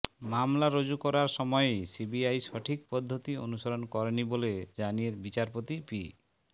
মামলা রুজু করার সময়েই সিবিআই সঠিক পদ্ধতি অনুসরণ করেনি বলে জানিয়ে বিচারপতি পি